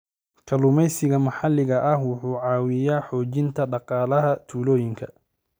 Kalluumeysiga maxalliga ah wuxuu caawiyaa xoojinta dhaqaalaha tuulooyinka.